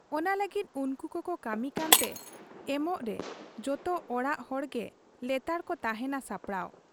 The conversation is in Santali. ᱚᱱᱟ ᱞᱟᱹᱜᱤᱫ ᱩᱱᱠᱩ ᱠᱚᱠᱚ ᱠᱟᱹᱢᱤ ᱠᱟᱱᱛᱮ ᱮᱢᱚᱜᱨᱮ ᱡᱚᱛᱚ ᱚᱲᱟᱜ ᱦᱚᱲᱜᱮ ᱞᱮᱛᱟᱲᱠᱚ ᱛᱟᱦᱮᱸᱱᱟ ᱥᱟᱯᱲᱟᱣ ᱾